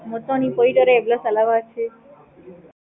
மொத்தோ நீ போயிட்டு வர எவ்வளோ செலவு ஆச்சி?